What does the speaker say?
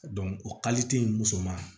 o in musoman